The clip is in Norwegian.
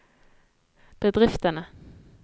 bedriftene